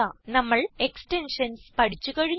നമ്മൾ എക്സ്റ്റെൻഷൻസ് പഠിച്ചു കഴിഞ്ഞു